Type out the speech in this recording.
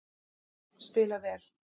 Spila vel